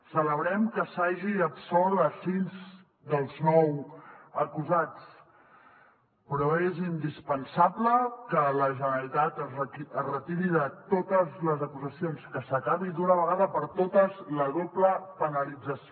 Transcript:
celebrem que s’hagi absolt sis dels nou acusats però és indispensable que la generalitat es retiri de totes les acusacions que s’acabi d’una vegada per totes la doble penalització